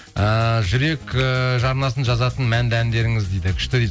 ііі жүрек ііі жарнасын жазатын мәнді әндеріңіз дейді күшті